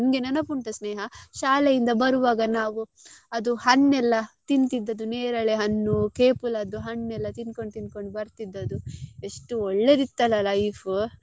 ನಿಂಗೆ ನೆನಪುಂಟಾ ಸ್ನೇಹ ಶಾಲೆಯಿಂದ ಬರುವಾಗ ನಾವು ಅದು ಹಣ್ಣೆಲ್ಲ ತಿಂತಿದದ್ದು ನೇರಳೆ ಹಣ್ಣು ಕೇಪುಲದ್ದು ಹಣ್ಣೆಲ್ಲ ತಿನ್ಕೊಂಡು ತಿನ್ಕೊಂಡು ಬರ್ತಿದದ್ದು ಎಷ್ಟು ಒಳ್ಳೇದಿತ್ತಲ್ಲ life .